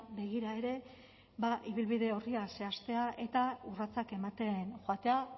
begira ere ba ibilbide orria zehaztea eta urratsak ematen joatea